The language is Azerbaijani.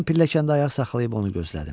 Mən pilləkəndə ayaq saxlayıb onu gözlədim.